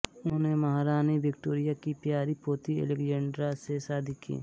उन्होंने महारानी विक्टोरिया की प्यारी पोती एलेक्जेंड्रा से शादी की